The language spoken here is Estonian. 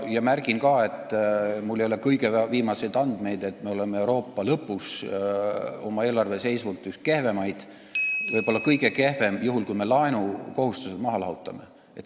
Ma märgin ka, et mul ei ole kõige viimaseid andmeid, aga ma tean, et me oleme Euroopas rea lõpus, oma eelarveseisult oleme üks kehvemaid, võib-olla kõige kehvem, juhul kui me laenukohustused maha lahutame.